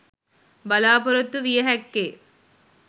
බලාපොරොත්තු විය හැක්කේ